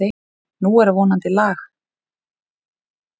Nú er vonandi lag.